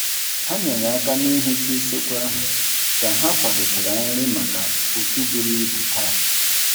Ha nyere aka n'ihicha usekwu ahụ ka ha kwadochara nri maka otu buru ibu taa.